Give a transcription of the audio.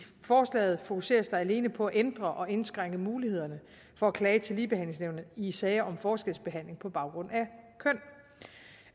forslaget fokuseres der alene på at ændre og indskrænke mulighederne for at klage til ligebehandlingsnævnet i sager om forskelsbehandling på baggrund